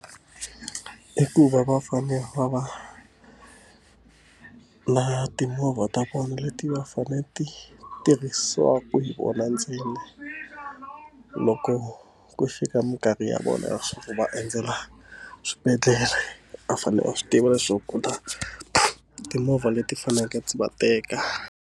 I ku va va fane va va na timovha ta vona leti va fanele ti tirhisiwaka hi vona ntsena loko ku fika minkarhi ya vona leswaku va endzela swibedhlele va fanele va swi tiva leswaku ku ta timovha leti faneleke ti va teka.